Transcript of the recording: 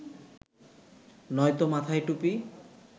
নয়তো মাথায় টুপি